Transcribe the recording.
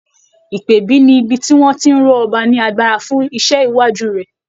Ìpèbí ní ibi tí wọ́n tí ń ró ọba ní agbára fún iṣẹ́ iwájú rẹ̀.